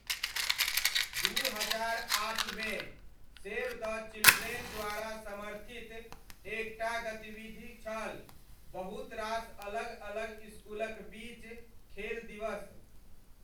दू हजार आठमे , सेव द चिल्ड्रेन द्वारा समर्थित एकटा गतिविधि छल बहुत रास अलग अलग इसकुलक बीच खेल दिवस।